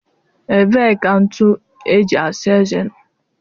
Ebee ka ntụ eji asa eze nọ?